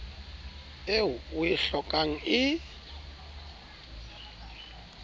eo o e hlokang e